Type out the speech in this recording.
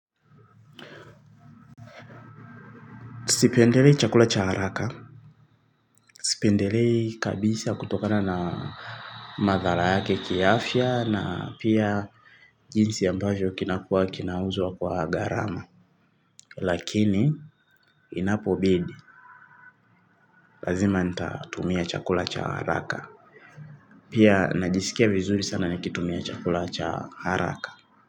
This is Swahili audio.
Sipendelei chakula cha haraka. Sipendelei kabisa kutokana na madhara yake kiafya na pia jinsi ambayo kinakua kinauzwa kwa gharama. Lakini inapo bidi. Lazima nitatumia chakula cha haraka. Pia najisikia vizuri sana nikitumia chakula cha haraka.